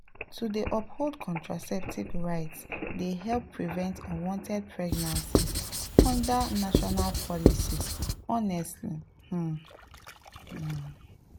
to dey uphold contraceptive rights dey help prevent unwanted pregnancies under national policies honestly um pause.